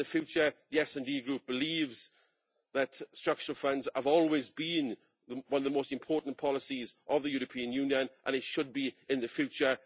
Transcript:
The SD Group believes that structural funds have always been one of the most important policies of the European Union, and should be in the future.